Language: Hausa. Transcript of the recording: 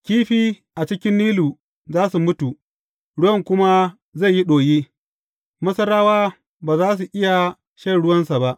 Kifi a ciki Nilu za su mutu, ruwan kuma zai yi ɗoyi; Masarawa ba za su iya shan ruwansa ba.’